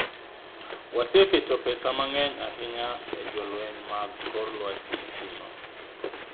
"Waseketo pesa mang'eny ahinya e jolweny mag kor lwasi kuno.